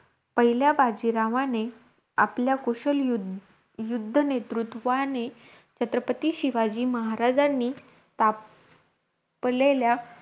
पहिल्या बाजीरावाने, आपल्या कुशल युध युद्ध नेतृत्वाने छत्रपती शिवाजी महाराजांनी ताप लेल्या,